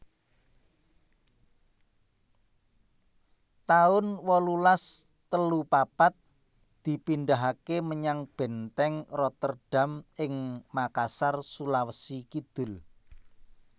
taun wolulas telu papat dipindahaké menyang Bèntèng Rotterdam ing Makassar Sulawesi Kidul